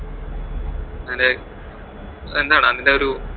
അതിന്റെ എന്തടാ അതിന്റെ ഒരു